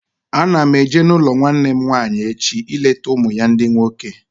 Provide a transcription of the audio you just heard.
Ana m eje n'ụlọ nwanne m nwaanyị echi ileta ụmụ ya ndị nwoke